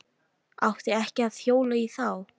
Átti ekki að hjóla í þá.